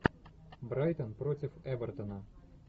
брайтон против эвертона